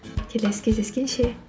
келесі кездескенше